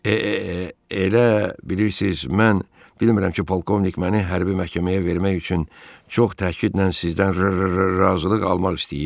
E-e-e-elə bilirsiz, mən bilmirəm ki, polkovnik məni hərbi məhkəməyə vermək üçün çox təkidlə sizdən r-r-r-razılıq almaq istəyir?